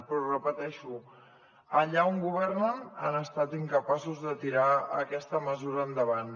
però ho repeteixo allà on governen han estat incapaços de tirar aquesta mesura endavant